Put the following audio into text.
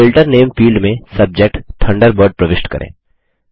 filter नामे field में subject Thunderbird प्रविष्ट करें